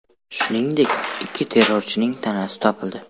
Shuningdek, ikki terrorchining tanasi topildi.